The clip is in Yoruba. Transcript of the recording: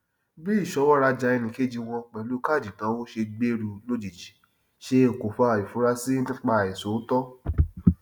bí ìṣọwọ rajà ẹnìkejì wọn pẹlú káàdì ìnáwó ṣe gbèrú lójijì ṣe okùnfà ìfurasí nípa àìṣòótọ